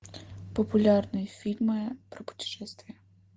популярные фильмы про путешествия